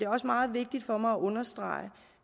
også meget vigtigt for mig at understrege